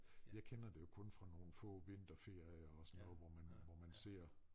Jeg kender det jo kun fra nogle få vinterferier og sådan noget hvor man hvor man ser